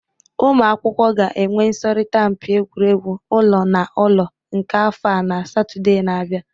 Ụmụ akwụkwọ ga-enwe ịsọrịta mpị egwụregwụ ụlọ na ụlọ nke afọ a na Satọde na-abịa